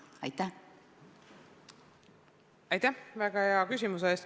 Aitäh väga hea küsimuse eest!